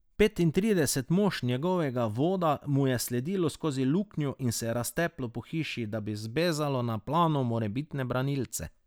Petintrideset mož njegovega voda mu je sledilo skozi luknjo in se razteplo po hiši, da bi zbezalo na plano morebitne branilce.